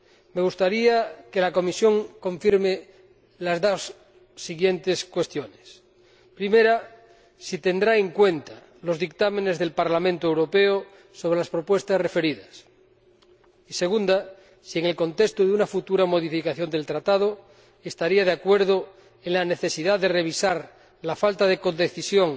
Me gustaría que la Comisión confirme las dos siguientes cuestiones en primer lugar, si tendrá en cuenta los dictámenes del Parlamento Europeo sobre las propuestas referidas y, en segundo lugar, si, en el contexto de una futura modificación del Tratado, estaría de acuerdo en la necesidad de revisar la falta de codecisión